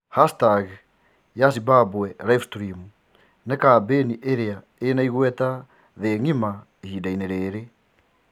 Hashtag ya Zimbabweanlivestream ni kabenĩ iria ina igweta thii ng'ima ihinda ine riri.